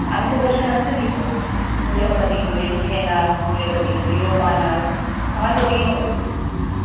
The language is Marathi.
आम्ही तर question answer लिहितोय मुलं कधी game खेळणार मुले कधी video पाहणार